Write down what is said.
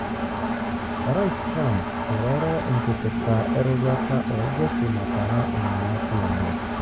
Orais Trump eroro enkipirta eroruata o jeshi natara imangati lenye.